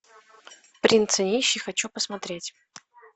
принц и нищий хочу посмотреть